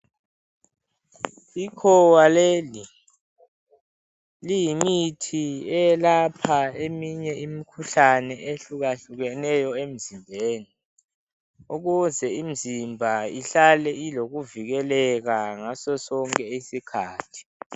Ikhowa leli liyimithi eyelapha eminye imikhuhlane ehlukahlukeneyo emzimbeni ukuze imizimba ihlale ilokuvikeleka ngasosonke isikhathi.